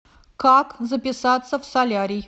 как записаться в солярий